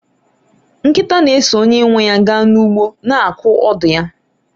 nkịta na-eso onye nwe ya gaa n'ugbo, na-akụ ọdụ ya